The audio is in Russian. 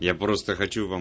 я просто хочу вам